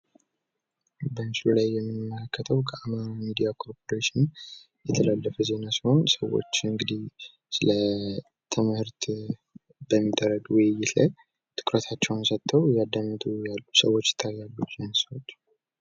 በምስሉ ላይ የምንመለከተው ከአማራ ሚዲያ ኮርፖሬሽን የተላለፈ ዜና ሲሆን ሰዎች እንግድህ ስለትምህርት በሚደረግ ውይይት ላይ ትኩረታቸውን ሰጥተው እያዳመጡ ያሉ ሰዎች ይታያሉ።